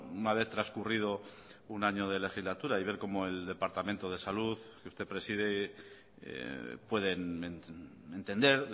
una vez transcurrido un año de legislatura y ver cómo el departamento de salud que usted preside pueden entender